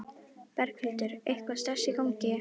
Berghildur: Eitthvað stress í gangi?